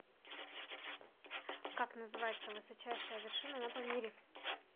как называется высочайшая вершина на памире